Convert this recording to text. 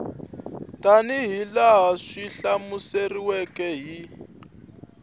tanihi laha swi hlamuseriweke hi